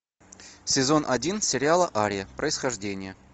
сезон один сериала ария происхождение